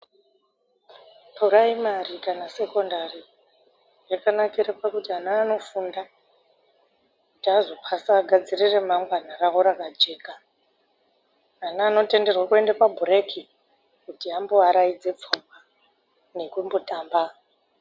Puraimari kana sekondari yakanakire pakuti ana anofunda kuti azopasa agadzire remangwana ravo rakajeka. Ana anotenderwe kuende pabhureki kuti amboaraidze pfungwa, neimbotamba.